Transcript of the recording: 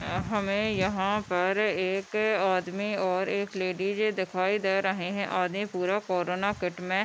हमे यहाँ पर एक आदमी और एक लेडीजे दिखाई दे रहे है आदमी पूरा कोरोना किट में --